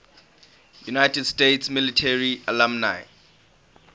united states military academy alumni